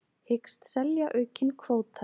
Hyggst selja aukinn kvóta